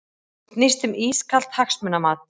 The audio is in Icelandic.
Snýst um ískalt hagsmunamat